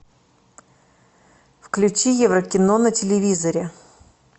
включи еврокино на телевизоре